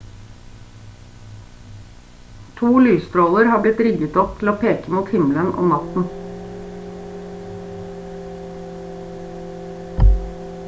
to lysstråler har blitt rigget opp til å peke mot himmelen om natten